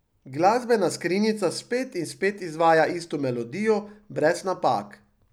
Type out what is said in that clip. Glasbena skrinjica spet in spet izvaja isto melodijo, brez napak.